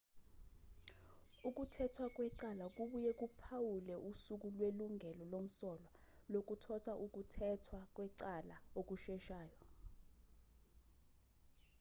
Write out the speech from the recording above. ukuthethwa kwecala kubuye kuphawule usuku lwelungelo lomsolwa lokuthotha ukuthethwa kwecala okusheshayo